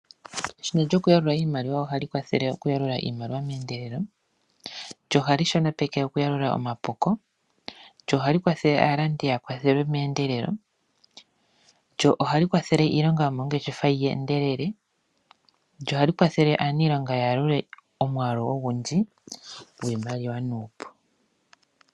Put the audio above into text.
Eshina lyokuyalula iimaliwa ohali kwathele okuyalula iimaliwa meendelelo. Ohali shonopeke okuyalula omapuko. Ohali kwathele aalandi ya kwathelwe meendelelo. Ohali kwathele iilonga yomoongeshefa yi endelele. Ohali kwathele aaniilonga ya yalule omwaalu ogundji gwiimaliwa nuupu.